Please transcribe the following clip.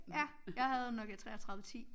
Ja jeg havde en Nokia 33 10